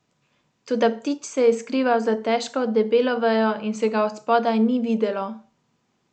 Toda ptič se je skrival za težko, debelo vejo in se ga od spodaj ni videlo.